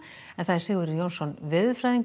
Sigurður Jónsson veðurfræðingur